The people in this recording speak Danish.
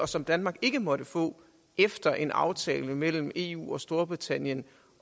som danmark ikke måtte få efter en aftale mellem eu og storbritannien